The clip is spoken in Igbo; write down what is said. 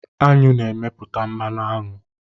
Aṅụ na-emepụta mmanụ aṅụ.